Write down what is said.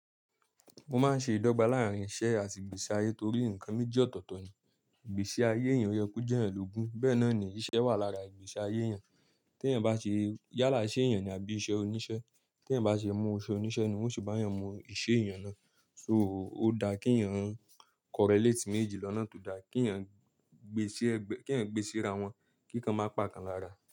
Mo máa ń ṣe ìdọ́gba láàrín iṣẹ́ àti ìgbésí ayé torí nǹkan méjì ọ̀tọ̀ọ̀tọ̀ ni. Ìgbésí ayé èèyàn rẹ kú jẹ́ ẹlògun. Bẹ́ẹ̀ náà ni iṣẹ́ wà lára ìgbésí ayé èèyàn. Tí èèyàn bá ṣe yálà iṣé èèyàn ni àbí iṣẹ́ oníṣẹ́, tí èèyàn bá ṣe mú u iṣe oníṣẹ́ ni won o se bá èèyàn mú iṣẹ́ èèyàn náà. Ó dáa kí èèyàn correlate méjì lọ́nà tó dáa, kí èèyàn gbésí ra wọn, kí kan má pa kan lára.